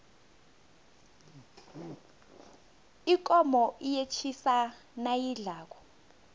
ikomo iyetjisa nayidlako